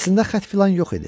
Əslində xətt filan yox idi.